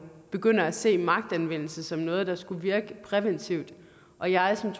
begynder at se magtanvendelse som noget der skulle virke præventivt og jeg som